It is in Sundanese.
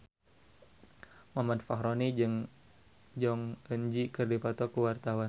Muhammad Fachroni jeung Jong Eun Ji keur dipoto ku wartawan